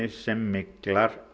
sem